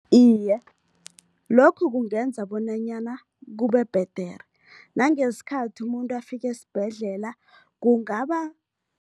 Iye, lokhu kungenza bonanyana kubebhedere, nangesikhathi umuntu afika esibhedlela kungaba